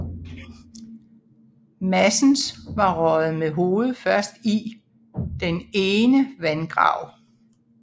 Madsens var røget med hovedet først i den ene vandgrav